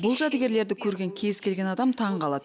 бұл жәдігерлерді көрген кез келген адам таңғалады